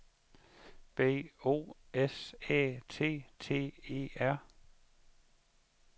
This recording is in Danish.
B O S Æ T T E R